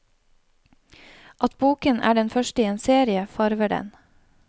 At boken er den første i en serie, farver den.